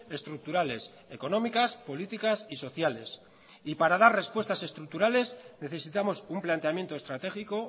estructurales económicas políticas y sociales y para dar respuestas estructurales necesitamos un planteamiento estratégico